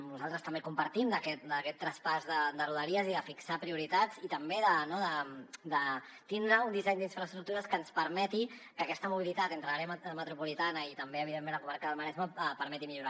nosaltres també compartim aquest traspàs de rodalies i de fixar prioritats i també de tindre un disseny d’infraestructures que ens permeti que aquesta mobilitat entre l’àrea metropolitana i també evidentment la comarca del maresme pugui millorar